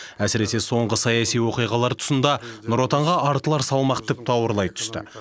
әсіресе соңғы саяси оқиғалар тұсында нұр отанға артылар салмақ тіпті ауырлай түсті